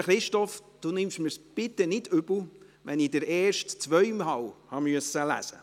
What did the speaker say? Lieber Christoph Grimm, nehmen Sie es mir bitte nicht übel, dass ich den ersten zweimal lesen musste.